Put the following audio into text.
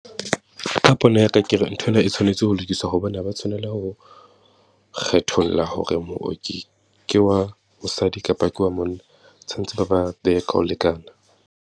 Ka pono ya ka, ke re nthwena e tshwanetse ho lokiswa hobane ha ba tshwanela ho kgetholla hore mooki ke wa mosadi kapa ke wa monna, tshwanetse ba ba behe ka ho lekana.